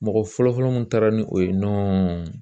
Mɔgɔ fɔlɔ-fɔlɔ mun taara ni o ye nɔ